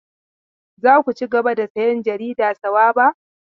Za ku cigaba da sayan jarida Sawaba?